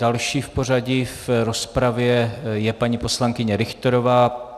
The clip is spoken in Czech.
Další v pořadí v rozpravě je paní poslankyně Richterová.